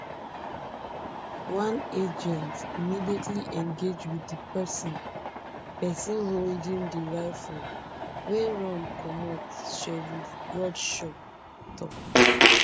one agent immediately engage wit di pesin pesin holding di rifle wey run comot sheriff bradshaw tok